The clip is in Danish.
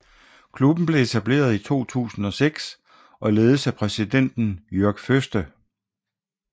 Klubben blev etableret i 2006 og ledes af præsidenten Jörg Föste